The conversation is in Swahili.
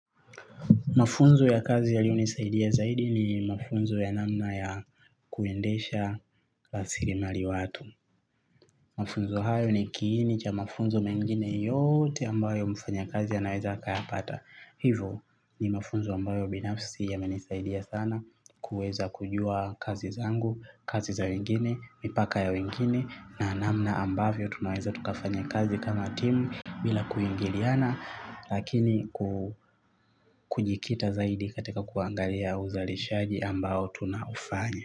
Mafunzo ya kazi yaliyo nisaidia zaidi ni mafunzo ya namna ya kuendesha rasilimali watu. Mafunzo hayo ni kiini cha mafunzo mengine yote ambayo mfanya kazi anaweza akaya pata. Hivyo ni mafunzo ambayo binafsi yamenisaidia sana kuweza kujua kazi zangu, kazi za wengine, mipaka ya wengine na namna ambavyo tunaweza tukafanya kazi kama timu bila kuingiliana. Lakini kujikita zaidi katika kuangalia uzalishaji ambao tunaufanya.